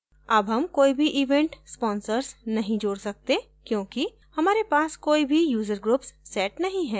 add हम कोई भी event sponsors नहीं जोड़ सकते क्योंकि हमारे पास कोई भी user groups set नहीं है